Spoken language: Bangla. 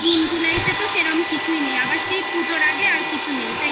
জুন জুলাইতে তো সেরকম কিছুই নেই. আবার সেই পুজোর আগে আর কিছু নেই. তাই না?